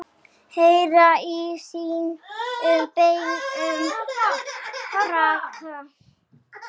Heyra í sínum beinum braka.